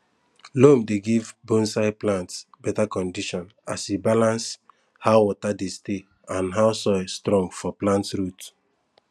loam dey give bonsai plants better condition as e balance how water dey stay and how soil strong for plant root